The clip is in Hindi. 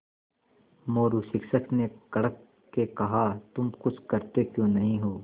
मोरू शिक्षक ने कड़क के कहा तुम कुछ करते क्यों नहीं हो